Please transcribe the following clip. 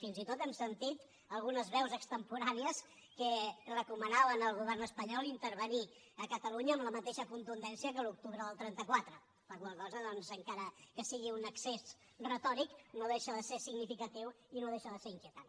fins i tot hem sentit algunes veus extemporànies que recomanaven al govern espanyol intervenir a catalunya amb la mateixa contundència que l’octubre del trenta quatre la qual cosa doncs encara que sigui un excés retòric no deixa de ser significatiu i no deixa de ser inquietant